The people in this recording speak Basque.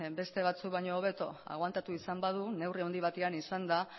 beste batzuk baino hobeto agoantatu izan badu neurri handi batean izan da